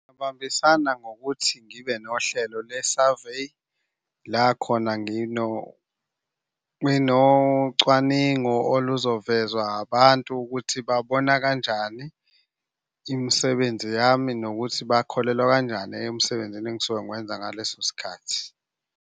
Ubambisana ngokuthi ngibe nohlelo le-survey la khona, nginocwaningo oluzovezwa abantu ukuthi babona kanjani imisebenzi yami nokuthi bakholelwa kanjani emsebenzini engisuke ngiwenza ngaleso sikhathi.